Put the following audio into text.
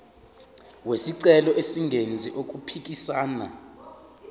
wesicelo engenzi okuphikisana